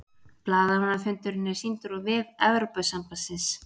Blaðamannafundurinn er sýndur á vef Evrópusambandsins